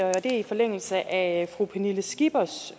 er i forlængelse af fru pernille skippers